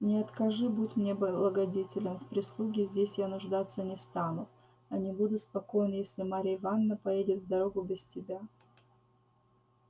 не откажи будь мне благодетелем в прислуге здесь я нуждаться не стану а не буду спокоен если марья ивановна поедет в дорогу без тебя